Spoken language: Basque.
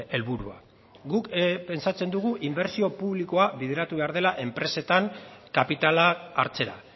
helburua guk pentsatzen dugu inbertsio publikoa bideratu behar dela enpresetan kapitala hartzera